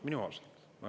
Minimaalselt.